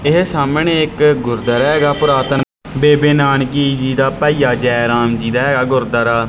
ਇਹ ਸਾਹਮਣੇ ਇੱਕ ਗੁਰੂਦਵਾਰਾ ਹੈਗਾ ਪੁਰਾਤਨ ਬੇਬੇ ਨਾਨਕੀ ਜੀ ਦਾ ਭਾਈਆ ਜੈ ਰਾਮ ਜੀ ਦਾ ਐ ਇਹ ਗੁਰੂਦਵਾਰਾ।